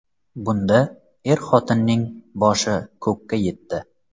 Bundna er-xotinning boshi ko‘kka yetdi.